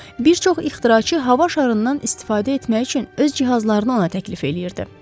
Bir çox ixtiraçı hava şarından istifadə etmək üçün öz cihazlarını ona təklif eləyirdi.